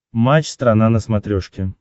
матч страна на смотрешке